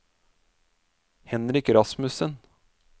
Henrik Rasmussen